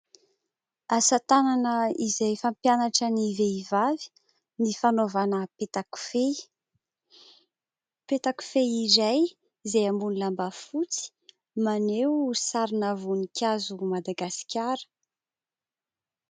Asan-tanana izay fampianatra ny vehivavy ny fanaovana petakofehy. Petakofehy iray izay amboniny lambafotsy maneho sarina voninkazo ny Madagasikara.